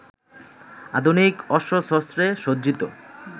আধুনিক অস্ত্রশস্ত্রে সজ্জিত